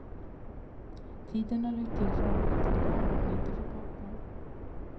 Tiden har räckt till för arbetet och barnen men inte för partnern.